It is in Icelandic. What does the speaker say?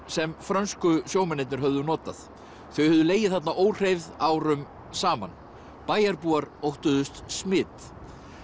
sem frönsku sjómennirnir höfðu notað þau höfðu legið þarna óhreyfð árum saman bæjarbúar óttuðust smit